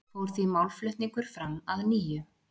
Fór því málflutningur fram að nýju